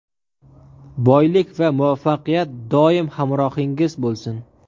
boylik va muvaffaqiyat doim hamrohingiz bo‘lsin.